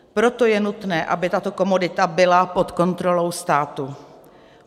Proto je nutné, aby tato komodita byla pod kontrolou státu.